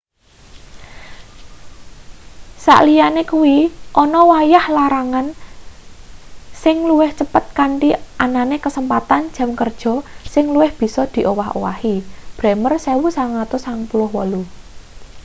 sakliyane kuwi ana wayah larangan sing luwih cepet kanthi anane kasempatan jam kerja sing luwih bisa diowah-owahi. bremer 1998